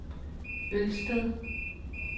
Ølsted